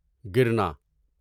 گرنا